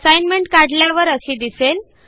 assignment काढल्यावर अशी दिसेल